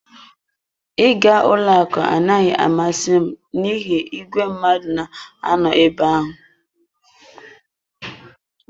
Ịga ụlọ akụ anaghị amasị m n'ihi igwe mmadụ na-anọ ebe ahụ.